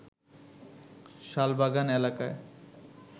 শালবাগান এলাকায়